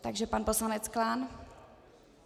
Takže pan poslanec Klán.